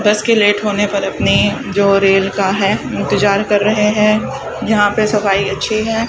बस के लेट होने पर अपने जो रेल का है इंतजार कर रहे हैं यहां पे सफाई अच्छी है।